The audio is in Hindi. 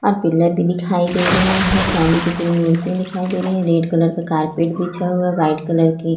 और पिल्लर भी दिखाई दे रहे हैं चांदी की मूर्ति दिखाई दे रहे हैं रेड कलर का कारपेट बिछा हुआ व्हाइट कलर की--